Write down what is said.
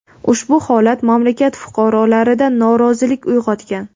Ushbu holat mamlakat fuqarolarida norozilik uyg‘otgan.